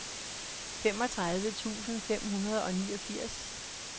femogtredive tusind fem hundrede og niogfirs